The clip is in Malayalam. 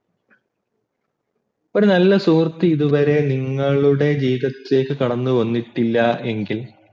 ഒരു നല്ല സുഹൃത്ത് ഇതുവരെ നിങ്ങളുടെ ജീവിതത്തിലേക്ക് കടന്നു വന്നിട്ടില്ല എങ്കിൽ